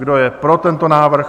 Kdo je pro tento návrh?